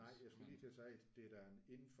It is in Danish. Det er altså det er ikke fordi det er uoverkommeligt men